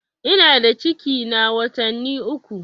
Ina da ciki na watanni uku.